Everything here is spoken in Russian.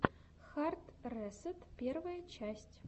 хард ресэт первая часть